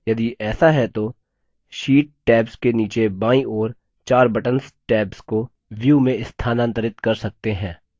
यदि ऐसा है तो sheet tabs के नीचे बायीं ओर चार buttons tabs को view में स्थानांतरित कर सकते हैं